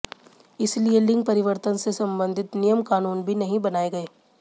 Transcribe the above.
इसलिए लिंग परिवर्तन से संबंधित नियम कानून भी नहीं बनाए गए